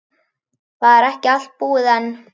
Það er ekki allt búið enn.